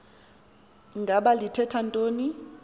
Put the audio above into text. ngaba lithetha ntoni